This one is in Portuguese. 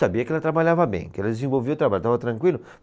Sabia que ela trabalhava bem, que ela desenvolvia o trabalho, estava tranquilo.